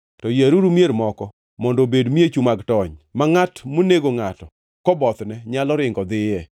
to yieruru mier moko mondo obed miechu mag tony, ma ngʼat monego ngʼato kobothne nyalo ringo dhiye.